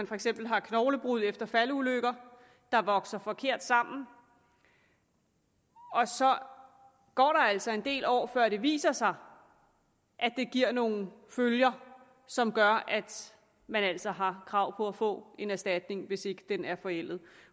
for eksempel knoglebrud efter faldulykker vokser forkert sammen og så går der altså en del år før det viser sig at det giver nogle følger som gør at man altså har krav på at få en erstatning hvis ikke den er forældet